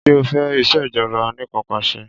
Ṣé o fẹ́ ìṣèjọba anìkanpàṣẹ?